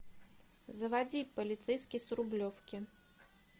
заводи полицейский с рублевки